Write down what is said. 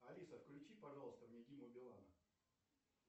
алиса включи пожалуйста мне диму билана